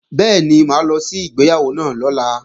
Bẹ́ẹ̀ni, mà á lọ sí ìgbéyàwó náà lọ́la